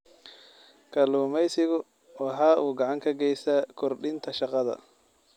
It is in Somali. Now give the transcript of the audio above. Kalluumaysigu waxa uu gacan ka geystaa kordhinta shaqada.